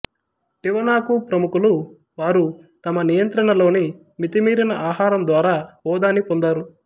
టివనాకు ప్రముఖులు వారు తమ నియంత్రణలోని మితిమీరిన ఆహారం ద్వారా హోదాని పొందారు